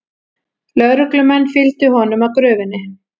Lögreglumenn fylgdu honum að gröfinni